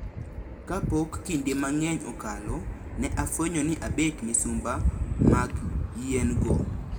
Ka pok kinde mang`eny okalo, ne afwenyo ni abet misumba mag yien go.